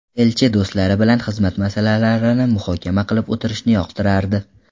Elchi do‘stlari bilan xizmat masalalarini muhokama qilib o‘tirishni yoqtirardi.